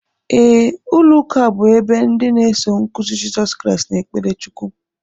Ee, ụlọuka bú ebe ndị na eso nkụzi Jesọs Christ n'ekpere Chukwu